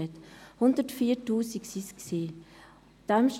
Es handelte sich um 104 000 Behandlungen.